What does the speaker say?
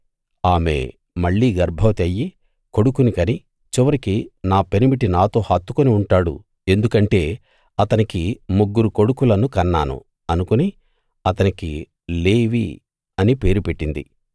ఆమె మళ్ళీ గర్భవతి అయ్యి కొడుకుని కని చివరికి నా పెనిమిటి నాతో హత్తుకుని ఉంటాడు ఎందుకంటే అతనికి ముగ్గురు కొడుకులను కన్నాను అనుకుని అతనికి లేవి అని పేరు పెట్టింది